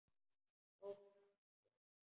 Þótt allt sé hætt?